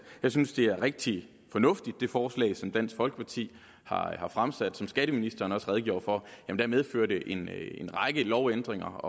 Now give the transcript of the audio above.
jeg synes at det er et rigtig fornuftigt forslag som dansk folkeparti har fremsat som skatteministeren også redegjorde for medfører det en række lovændringer